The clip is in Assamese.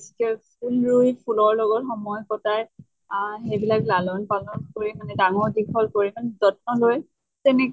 ফুল ৰুই ফুলৰ লগত সময় কটাই আহ সেইবিলাক লালন পালন কৰি মানে ডাঙৰ দীঘল কৰি যত্ন লৈ তেনেকে